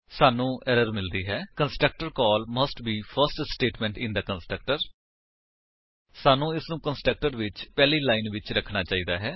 ਸਾਨੂੰ ਐਰਰ ਮਿਲਦੀ ਹੈ constructor call must be the first statement in the constructor ਸਾਨੂੰ ਇਸਨੂੰ ਕੰਸਟਰਕਟਰ ਵਿੱਚ ਪਹਿਲੀ ਲਾਇਨ ਵਿੱਚ ਰੱਖਣਾ ਚਾਹੀਦਾ ਹੈ